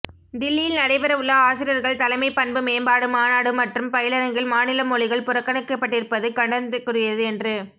தில்லியில் நடைபெற உள்ள ஆசிரியர்கள் தலைமைப் பண்பு மேம்பாடு மாநாடு மற்றும் பயிலரங்கில் மாநில மொழிகள் புறக்கணிக்கப்பட்டிருப்பது கண்டனத்திற்குரியது என்று